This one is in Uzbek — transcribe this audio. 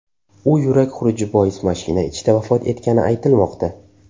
U yurak xuruji bois mashina ichida vafot etgani aytilmoqda.